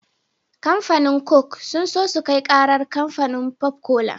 Kamfanin coke sun so sukai karar kamfanin pop cola